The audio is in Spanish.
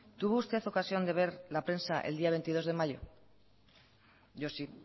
tuvo usted ocasión de ver la prensa el día veintidós de mayo yo sí